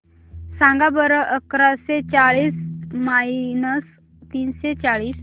सांगा बरं अकराशे चाळीस मायनस तीनशे चाळीस